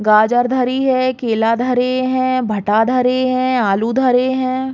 गाजर धरी है केला धरें हैं भटा धरें हैं आलू धरें हैं।